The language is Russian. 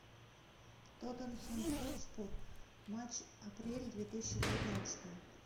тоттенхэм хотспур матч апрель две тысячи девятнадцатого